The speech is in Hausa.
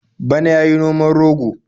Bana ya yi noman rogo.